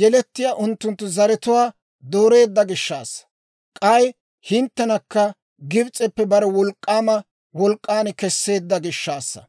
yelettiyaa unttunttu zaratuwaa dooreedda gishshaassa. K'ay hinttenakka Gibs'eppe bare wolk'k'aama wolk'k'an kesseedda gishshaassa.